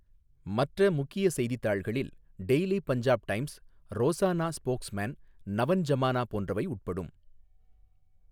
மற்ற முக்கிய செய்தித்தாள்களில் daily Punjab times, Rozana spokesman, Nawan Zamana போன்றவை உட்படும்.